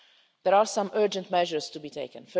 There are some urgent measures to be taken.